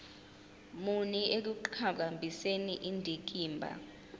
muni ekuqhakambiseni indikimba